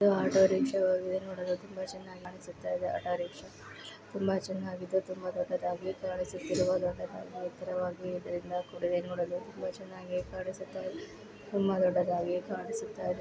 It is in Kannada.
ಇದು ಆಟೋ ರಿಕ್ಷಾ ವಾಗಿದೆ ನೋಡಲು ತುಂಬಾ ಚೆನ್ನಾಗಿ ಕಾಣಿಸುತಿದೆ. ಆಟೋರಿಕ್ಷಾ ನೋಡಲು ತುಂಬಾ ಚೆನಾಗಿದೆ. ತುಂಬಾ ದೊಡ್ಡದಾಗಿ ಕಾಣಿಸುತಿರುವ ದೊಡ್ಡ ದಾಗಿ ಹಾಗೂ ಎತ್ತರವಾಗಿ ಇದ್ರಿಂದ ಕೂಡಿದೆ ನೋಡಲು ತುಂಬಾ ಚೆನ್ನಾಗಿ ಕಾಣಿಸುತ ಇದೆ ತುಂಬಾ ದೊಡ್ಡದಾಗಿ ಕಾಣಿಸುತಿದೆ.